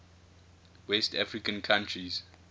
west african countries